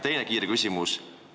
Teine kiire küsimus.